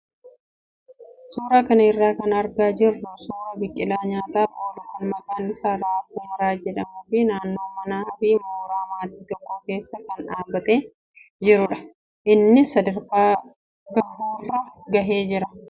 Suuraa kana irraa kan argaa jirru suuraa biqilaa nyaataaf oolu kan maqaan isaa raafuu maraa jedhamuu fi naannoo manaa fi mooraa maatii tokkoo keessa kan dhaabbatee jirudha. Innis sadarkaa gahuurra gahee jira.